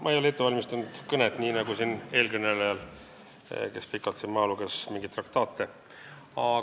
Ma ei ole ette valmistanud kõnet nii nagu eelkõneleja, kes siin pikalt mingeid traktaate maha luges.